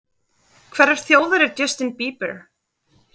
Hverrar þjóðar er Justin Bieber?